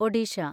Odisha